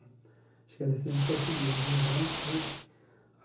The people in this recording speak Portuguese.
Acho que é descendente português, bem branco ele.